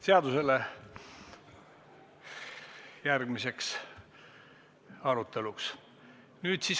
Nüüd siis kohaloleku kontroll.